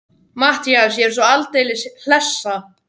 MATTHÍAS: Ég er svo aldeilis hlessa.